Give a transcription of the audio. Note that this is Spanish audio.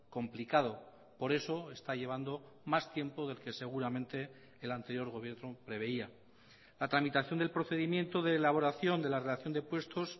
complicado por eso está llevando más tiempo del que seguramente el anterior gobierno preveía la tramitación del procedimiento de elaboración de la relación de puestos